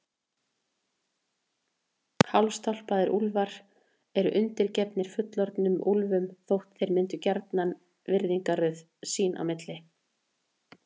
Hálfstálpaðir úlfar eru undirgefnir fullorðnum úlfum þótt þeir myndi gjarnan virðingarröð sín á milli.